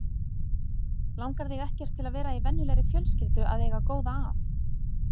Langar þig ekkert til að vera í venjulegri fjölskyldu að eiga góða að?